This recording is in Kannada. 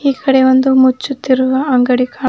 ಈ ಕಡೆ ಒಂದು ಮುಚ್ಚುತ್ತಿರುವ ಅಂಗಡಿ ಕಾ--